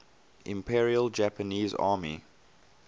imperial japanese army